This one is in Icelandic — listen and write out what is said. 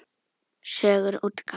Sögur útgáfa.